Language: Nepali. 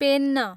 पेन्न